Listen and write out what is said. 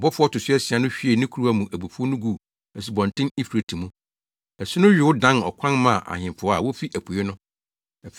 Ɔbɔfo a ɔto so asia no hwiee ne kuruwa mu abufuw no guu Asubɔnten Eufrate mu. Asu no yow dan ɔkwan maa ahemfo a wofi apuei no.